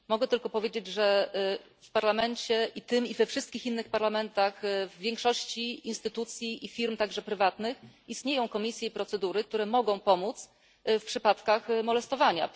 Mogę tylko powiedzieć, że w Parlamencie, i tym, i we wszystkich innych parlamentach, a także w większości instytucji i firm, również prywatnych, istnieją komisje, procedury, które mogą pomóc w przypadkach molestowania.